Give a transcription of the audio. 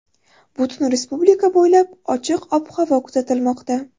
Butun respublika bo‘ylab ochiq ob-havo kuzatilmoqda.